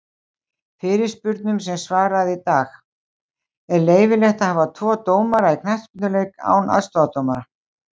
Fyrirspurnum sem var svarað í dag:-Er leyfilegt að hafa tvo dómara í knattspyrnuleik án aðstoðardómara?